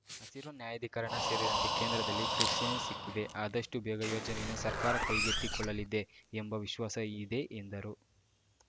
ಹಸಿರು ನ್ಯಾಯಾಧಿಕರಣ ಸೇರಿದಂತೆ ಕೇಂದ್ರದಲ್ಲಿ ಕ್ರಿಶ್ಚಿಯನ್ ಸಿಕ್ಕಿದೆ ಅದಷ್ಟುಬೇಗ ಯೋಜನೆಯನ್ನು ಸರ್ಕಾರ ಕೈಗೆತ್ತಿಕೊಳ್ಳಲಿದೆ ಎಂಬ ವಿಶ್ವಾಸ ಇದೆ ಎಂದರು